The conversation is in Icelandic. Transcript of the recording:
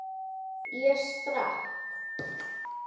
Ég sprakk.